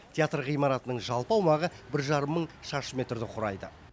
театр ғимаратының жалпы аумағы бір жарым мың шаршы метрді құрайды